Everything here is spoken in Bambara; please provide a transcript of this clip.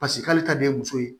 paseke k'ale ta de ye muso ye